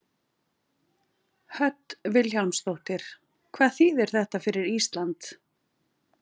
Hödd Vilhjálmsdóttir: Hvað þýðir þetta fyrir Ísland?